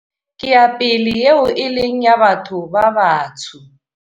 Ke ya pele eo e leng ya batho ba batsho.